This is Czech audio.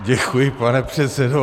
Děkuji, pane předsedo.